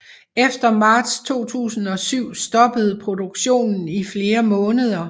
Efter marts 2007 stoppede produktionen i flere måneder